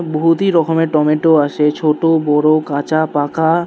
বহুতি রকমের টমেটো আসে ছোট বড় কাঁচা পাকা।